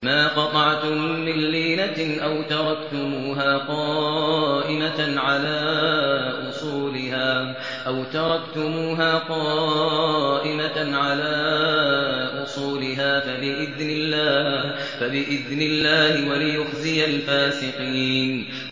مَا قَطَعْتُم مِّن لِّينَةٍ أَوْ تَرَكْتُمُوهَا قَائِمَةً عَلَىٰ أُصُولِهَا فَبِإِذْنِ اللَّهِ وَلِيُخْزِيَ الْفَاسِقِينَ